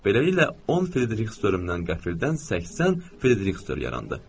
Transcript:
Beləliklə 10 frieriks dörmdən qəfildən 80 frieriks dörm yarandı.